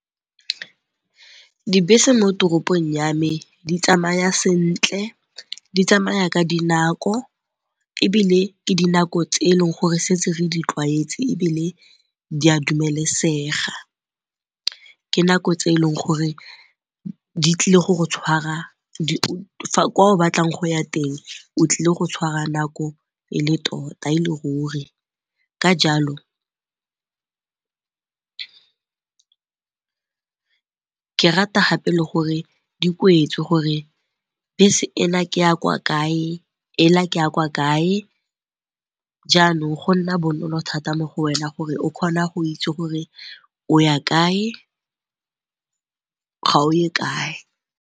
Dibese mo toropong ya me di tsamaya sentle di tsamaya ka dinako ebile ke dinako tse eleng gore setse re di tlwaetse ebile di a dumelesega. Ke nako tse e leng gore di tlile go go tshwara kwa o batlang go ya teng, o tlile go tshwara nako e le tota e le ruri ka jalo ke rata gape le gore di kwetswe gore bese ena ke ya kwa kae e la ke ya kwa kae jaanong go nna bonolo thata mo go wena gore o kgona go itse gore o ya kae ga oye kae.